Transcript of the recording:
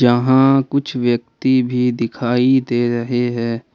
यहां कुछ व्यक्ति भी दिखाई दे रहे हैं।